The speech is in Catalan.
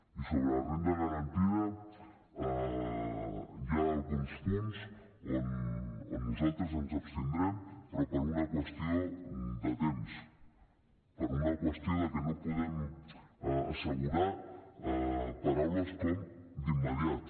i sobre la renda garantida hi ha alguns punts on nosaltres ens abstindrem però per una qüestió de temps per una qüestió de que no podem assegurar paraules com d’immediat